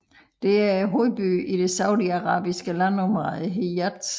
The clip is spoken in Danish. Den er hovedbyen i det saudiarabiske landområde Hijaz